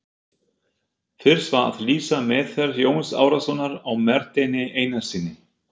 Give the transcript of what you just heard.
Fyrst var að lýsa meðferð Jóns Arasonar á Marteini Einarssyni.